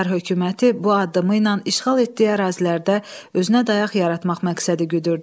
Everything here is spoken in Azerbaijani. Çar hökuməti bu addımı ilə işğal etdiyi ərazilərdə özünə dayaq yaratmaq məqsədi güdürdü.